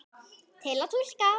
Til að túlka